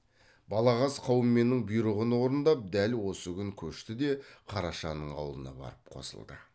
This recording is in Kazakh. балағаз қауменнің бұйрығын орындап дәл осы күн көшті де қарашаның аулына барып қосылды